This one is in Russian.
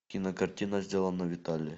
кинокартина сделано в италии